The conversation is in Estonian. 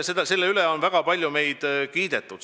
Selle eest on meid väga palju kiidetud.